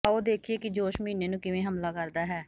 ਆਓ ਦੇਖੀਏ ਕਿ ਜੋਸ਼ ਮਹੀਨੇ ਨੂੰ ਕਿਵੇਂ ਹਮਲਾ ਕਰਦਾ ਹੈ